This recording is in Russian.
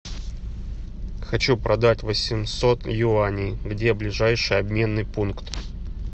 хочу продать восемьсот юаней где ближайший обменный пункт